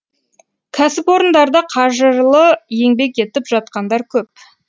кәсіпорындарда қажырлы еңбек етіп жатқандар көп